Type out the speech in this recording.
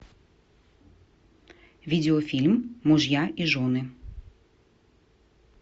видеофильм мужья и жены